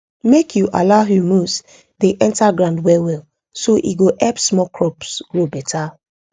make you allow humus dey enter ground well well so e go help small crops grow beta